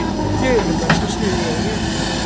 Sölumennska og stuð í Eyjum